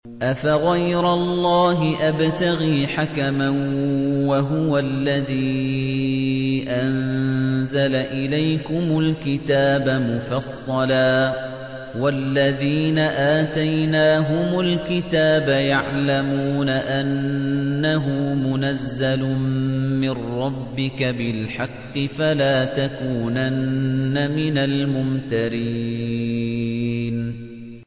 أَفَغَيْرَ اللَّهِ أَبْتَغِي حَكَمًا وَهُوَ الَّذِي أَنزَلَ إِلَيْكُمُ الْكِتَابَ مُفَصَّلًا ۚ وَالَّذِينَ آتَيْنَاهُمُ الْكِتَابَ يَعْلَمُونَ أَنَّهُ مُنَزَّلٌ مِّن رَّبِّكَ بِالْحَقِّ ۖ فَلَا تَكُونَنَّ مِنَ الْمُمْتَرِينَ